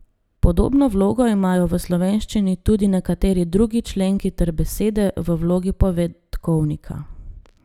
Podobno vlogo imajo v slovenščini tudi nekateri drugi členki ter besede v vlogi povedkovnika.